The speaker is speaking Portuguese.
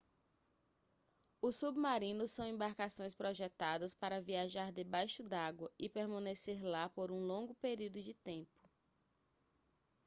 os submarinos são embarcações projetadas para viajar debaixo d'água e permanecer lá por um longo período de tempo